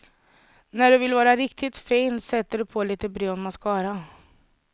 När du vill vara riktigt fin sätter du på lite brun mascara.